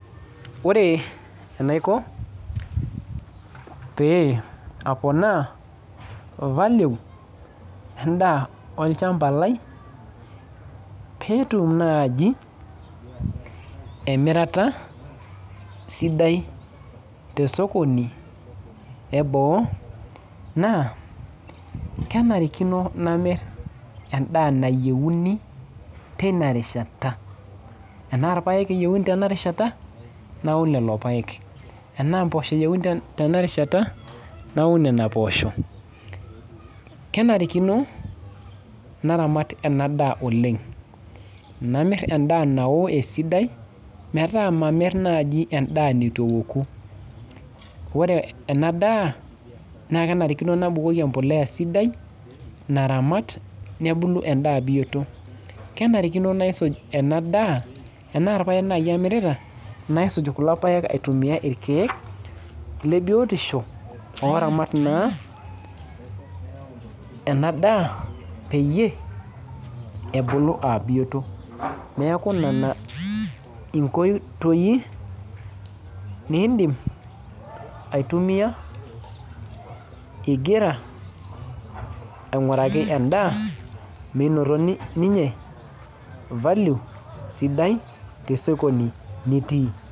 Ore enaiko pee aponaa value endaa olchamba lai petum naaji emirata sidai tesokoni eboo naa kenarikino namirr endaa nayieuni teina rishat tenaa ipayek eyiuni tena rishata naun lelo payek enaa mpoosho eyieuni te tena rishata naun nena poosho kenarikino naramat en daa oleng namirr endaa nawo esidai metaa mamirr naaji endaa netu eoku ore ena daa naa kenarikino nabukoki empuliya sidai naramat nebulu endaa biyioto kenarikino naisuj ena daa tenaa irpayek naaji amirita naisuj kulo payek aitumia irkeek le biotisho oramat naa ena daa peyie ebulu abiyoto neku nena inkoitoi nindim aitumia igira aing'uraki endaa meinoto ni ninye value sidai tesokoni nitii.